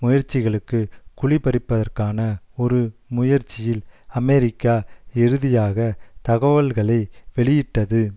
முயற்சிகளுக்கு குழி பறிப்பதற்கான ஒரு முயற்சியில் அமெரிக்கா இறுதியாக தகவல்களை வெளியிட்டது